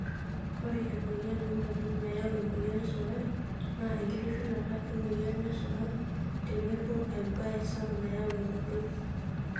Ore emoyian oonkonyek nayau emoyian esukari naa enkitushulata emoyian esukari tenebo embae sapuk nayau emodoo.